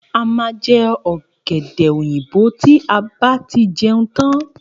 A má je õgédè oyinbo ti a ba tí jeun tan